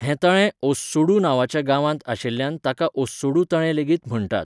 हें तळें ओस्सुडू नांवाच्या गांवांत आशिल्ल्यान ताका ओस्सुडू तळें लेगीत म्हण्टात.